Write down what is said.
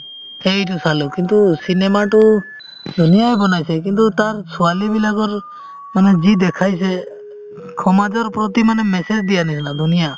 সেইটো চালো কিন্তু cinema তো ধুনীয়ায়ে বনাইছে কিন্তু তাৰ ছোৱালীবিলাকৰ মানে যি দেখাইছে সমাজৰ প্ৰতি মানে message দিয়াৰ নিচিনা ধুনীয়া